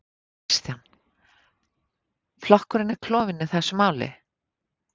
Kristján: Flokkurinn er klofinn í þessu máli?